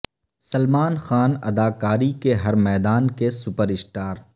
سلمان خان اداکاری کے ہر میدان کے سپر اسٹار